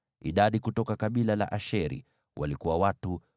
Idadi kutoka kabila la Asheri walikuwa watu 41,500.